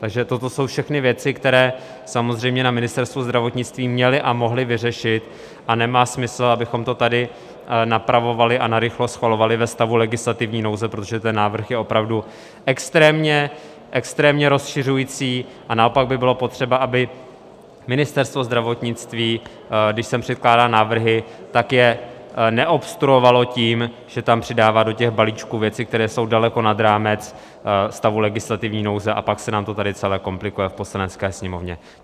Takže toto jsou všechny věci, které samozřejmě na Ministerstvu zdravotnictví měli a mohli vyřešit, a nemá smysl, abychom to tady napravovali a narychlo schvalovali ve stavu legislativní nouze, protože ten návrh je opravdu extrémně rozšiřující, a naopak by bylo potřeba, aby Ministerstvo zdravotnictví, když sem předkládá návrhy, tak je neobstruovalo tím, že tam přidává do těch balíčků věci, které jsou daleko nad rámec stavu legislativní nouze, a pak se nám to tady celé komplikuje v Poslanecké sněmovně.